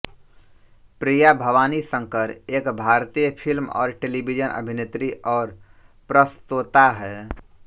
प्रिया भवानी शंकर एक भारतीय फिल्म और टेलीविज़न अभिनेत्री और प्रस्तोता हैं